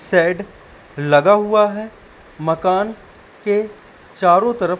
shed लगा हुआ है मकान के चारों तरफ--